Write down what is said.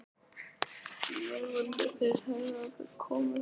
Ég vildi þeir hefðu aldrei hingað komið.